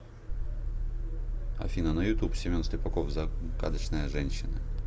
афина на ютуб семен слепаков замкадочная женщина